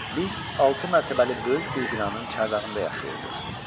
Biz altı mərtəbəli böyük bir binanın çardağında yaşayırdıq.